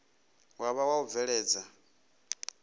wa vha wa u bveledza